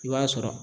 I b'a sɔrɔ